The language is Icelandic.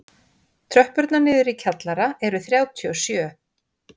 Tröppurnar niður í kjallara eru þrjátíu og sjö.